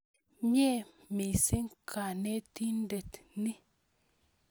Mye missing' kanetindet ni